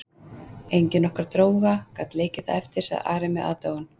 Engin okkar dróga gat leikið það eftir, sagði Ari með aðdáun.